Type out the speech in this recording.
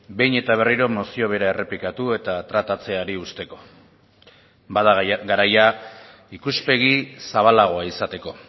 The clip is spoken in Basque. behin eta berriro mozio bera errepikatu eta tratatzeari uzteko bada garaia ikuspegi zabalagoa izateko